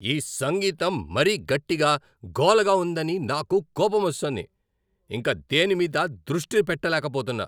ఈ సంగీతం మరీ గట్టిగా, గోలగా ఉందని నాకు కోపమొస్తోంది. ఇంక దేని మీదా దృష్టి పెట్టలేకపోతున్నా.